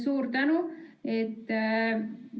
Suur tänu!